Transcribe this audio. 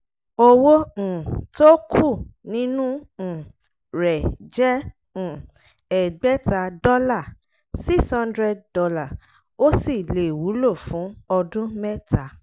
owó um tó kù nínú um rẹ̀ jẹ́ um ẹgbẹ̀ta dọ́là ($ six hundred ) ó sì lè wúlò fún ọdún mẹ́ta.